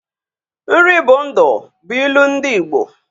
Nri bụ ndụ bụ ilu ndị Ịgbo